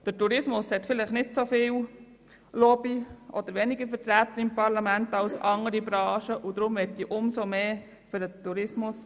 Der Tourismus hat vielleicht nicht so viel Lobby und ist im Parlament weniger vertreten als andere Branchen, deshalb appelliere ich viel stärker für den Tourismus.